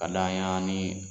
Ka da ɲagami